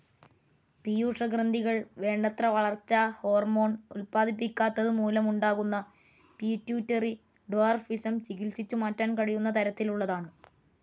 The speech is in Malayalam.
പീയൂഷഗ്രന്ഥികൾ വേണ്ടത്ര വളർച്ചാ ഹോർമോണും ഉത്പാദിപ്പിക്കാത്തതുമൂലമുണ്ടാകുന്ന പിറ്റ്യൂട്ടറി ഡ്വാർഫിസം ചികിത്സിച്ചു മാറ്റാൻ കഴിയുന്ന തരത്തിലുള്ളതാണ്.